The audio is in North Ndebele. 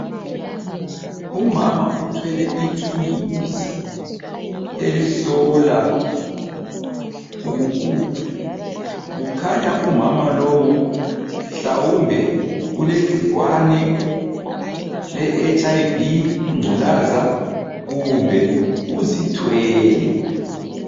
Umama uthwele ithuluzi elihlola ukugula. Kukhanya umama lowu mhlawumbe ulegcikwane leHIV ingculaza kumbe uzithwele.